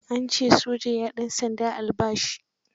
Ya ce soja ya ɗansanda albashi.